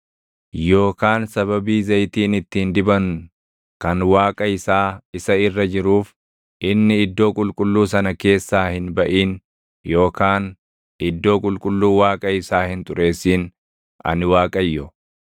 yookaan sababii zayitiin ittiin diban kan Waaqa isaa isa irra jiruuf inni iddoo qulqulluu sana keessaa hin baʼin yookaan iddoo qulqulluu Waaqa isaa hin xureessin. Ani Waaqayyo.